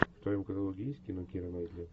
в твоем каталоге есть кино киры найтли